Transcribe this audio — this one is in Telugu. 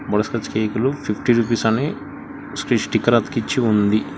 కేక్ లు ఫిఫ్టీ రూపీస్ అని స్టిక్కర్ అతికిచ్చి ఉంది.